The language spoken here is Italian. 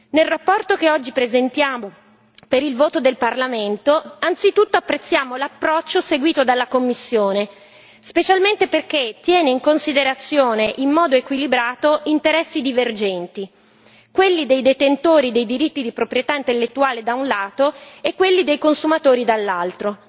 Nella relazione che oggi presentiamo per il voto del Parlamento anzitutto apprezziamo l'approccio seguito dalla Commissione, specialmente perché tiene in considerazione in modo equilibrato interessi divergenti, quelli dei detentori dei diritti di proprietà intellettuale, da un lato, e quelli dei consumatori, dall'altro.